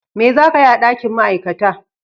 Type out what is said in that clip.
Me za ka yi a dakin Ma'aikata?